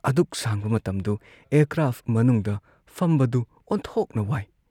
ꯑꯗꯨꯛ ꯁꯥꯡꯕ ꯃꯇꯝꯗꯨ ꯑꯦꯌꯥꯔꯀ꯭ꯔꯥꯐꯠ ꯃꯅꯨꯡꯗ ꯐꯝꯕꯗꯨ ꯑꯣꯟꯊꯣꯛꯅ ꯋꯥꯏ ꯫